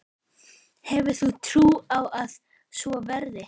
Hefur þú trú á að svo verði?